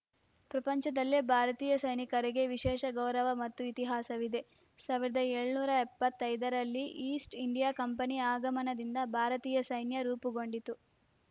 ಪ್ರಪಂಚದಲ್ಲೇ ಭಾರತೀಯ ಸೈನಿಕರಿಗೆ ವಿಶೇಷ ಗೌರವ ಮತ್ತು ಇತಿಹಾಸವಿದೆ ಸಾವಿರದ ಏಳುನೂರ ಎಪ್ಪತ್ತೈದರಲ್ಲಿ ಈಸ್ಟ್‌ ಇಂಡಿಯಾ ಕಂಪನಿ ಆಗಮನದಿಂದ ಭಾರತೀಯ ಸೈನ್ಯ ರೂಪುಗೊಂಡಿತು